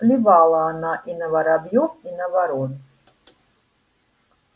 плевала она и на воробьёв и на ворон